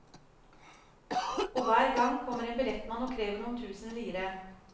Og hver gang kommer en billettmann og krever noen tusen lire.